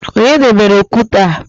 Onye debere okwute a?